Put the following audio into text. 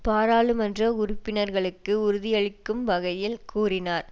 பாராளுமன்ற உறுப்பினர்களுக்கு உறுதியளிக்கும் வகையில் கூறினார்